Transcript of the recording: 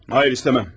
Xeyr, istəmirəm.